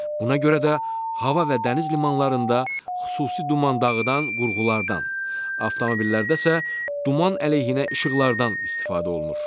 Buna görə də hava və dəniz limanlarında xüsusi duman dağıdan qurğulardan, avtomobillərdə isə duman əleyhinə işıqlardan istifadə olunur.